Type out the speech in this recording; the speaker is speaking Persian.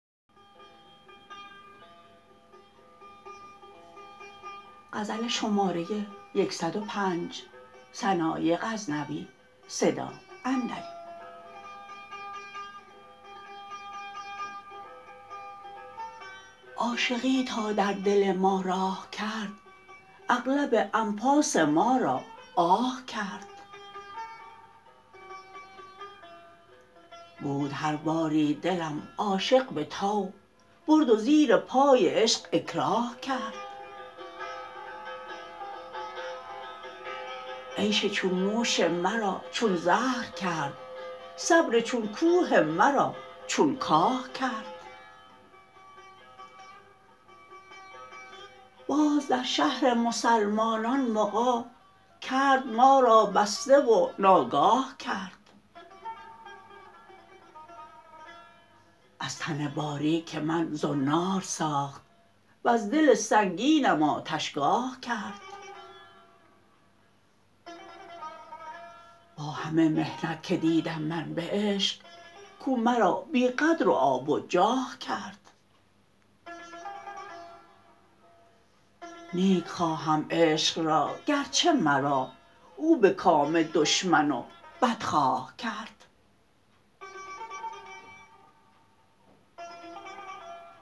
عاشقی تا در دل ما راه کرد اغلب انفاس ما را آه کرد بود هر باری دلم عاشق به طوع برد و زیر پای عشق اکراه کرد عیش چون نوش مرا چون زهر کرد صبر چون کوه مرا چون کاه کرد باز در شهر مسلمانان مغی کرد ما را بسته و ناگاه کرد از تن باریک من زنار ساخت وز دل سنگینم آتشگاه کرد با همه محنت که دیدم من به عشق کو مرا بی قدر و آب و جاه کرد نیک خواهم عشق را گر چه مرا او به کام دشمن و بدخواه کرد